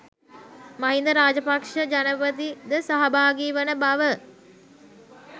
මහින්ද රාජපක්ෂ ජනපති ද සහභාගී වන බව